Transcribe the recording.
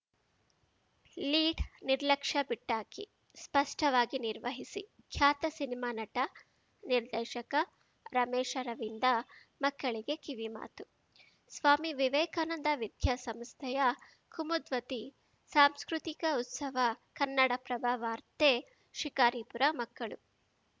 lead ನಿರ್ಲಕ್ಷ್ಯ ಬಿಟ್ಟಾಕಿ ಶ್ರೇಷ್ಠವಾಗಿ ನಿರ್ವಹಿಸಿ ಖ್ಯಾತ ಸಿನಿಮಾ ನಟ ನಿರ್ದೇಶಕ ರಮೇಶ್‌ ಅರವಿಂದ ಮಕ್ಕಳಿಗೆ ಕಿವಿಮಾತು ಸ್ವಾಮಿ ವಿವೇಕಾನಂದ ವಿದ್ಯಾ ಸಂಸ್ಥೆಯ ಕುಮದ್ವತಿ ಸಾಂಸ್ಕೃತಿಕ ಉತ್ಸವ ಕನ್ನಡಪ್ರಭ ವಾರ್ತೆ ಶಿಕಾರಿಪುರ ಮಕ್ಕಳು